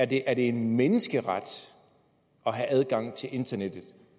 det er en menneskeret at have adgang til internettet